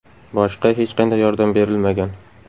Boshqa hech qanday yordam berilmagan.